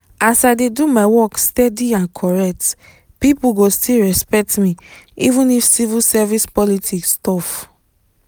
as i dey do my work steady and correct people go still respect me even if civil service politics tough.